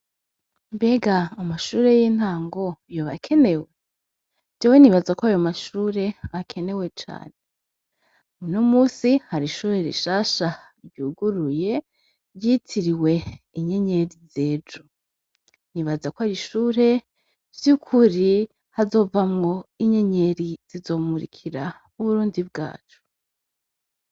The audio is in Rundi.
Mbega amashure y'intango yoba akenewe ?jewe nibaza ko ayo mashure akenewe cane muno munsi hari ishure rishasha ryuguruye ryitiriwe inyenyeri zejo nibaza ko hari ishure ry'ukuri hazova mwo inyenyeri zizomurikira uburundi bwacu.